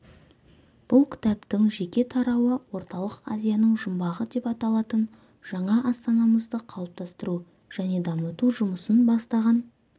бұл кітаптың жеке тарауы орталық азияның жұмбағы деп аталатын жаңа астанамызды қалыптастыру және дамыту жұмысын бастаған